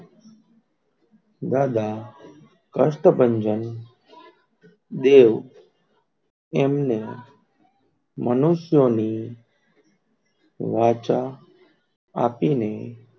દાદા કષ્ટભંજન દેવ, એમને મનુષ્યો ની વાચા આપીને,